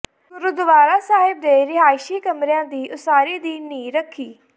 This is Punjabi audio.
ਗੁਰਦੁਆਰਾ ਸਾਹਿਬ ਦੇ ਰਿਹਾਇਸ਼ੀ ਕਮਰਿਆਂ ਦੀ ਉਸਾਰੀ ਦੀ ਨੀਂਹ ਰੱਖੀ